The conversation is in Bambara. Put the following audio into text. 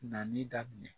Nali daminɛ